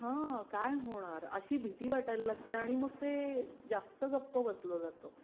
हा काय होणार अशी भीती वाटायला लागते आणि मग ते जास्त गप्प बसलं जात